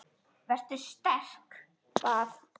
Vertu sterk- bað